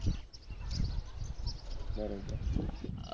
બરોબર હા